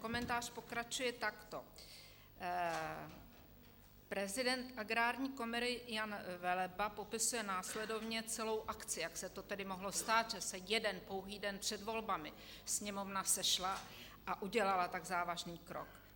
Komentář pokračuje takto: Prezident Agrární komory Jan Veleba popisuje následovně celou akci, jak se to tedy mohlo stát, že se jeden pouhý den před volbami Sněmovna sešla a udělala tak závažný rok.